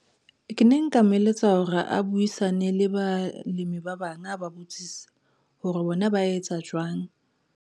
Ke ne nka mo eletsa hore a buisane le balemi ba bang a ba botsise hore bona ba etsa jwang.